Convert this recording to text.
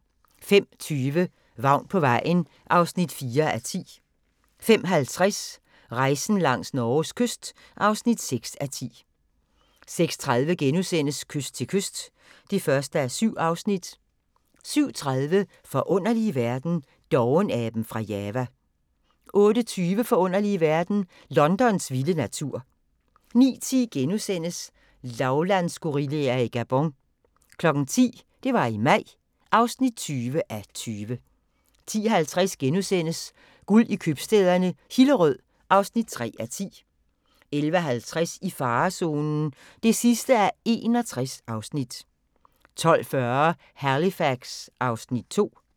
05:20: Vagn på vejen (4:10) 05:50: Rejsen langs Norges kyst (6:10) 06:30: Kyst til kyst (1:7)* 07:30: Forunderlige verden – Dovenaben fra Java 08:20: Forunderlige verden – Londons vilde natur 09:10: Lavlandsgorillaer i Gabon * 10:00: Det var i maj (20:20) 10:50: Guld i købstæderne - Hillerød (3:10)* 11:50: I farezonen (61:61) 12:40: Halifax (Afs. 2)